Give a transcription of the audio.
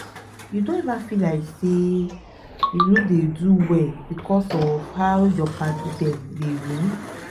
you don eva feel like sey um you no dey do well because of how your padi dem dey win?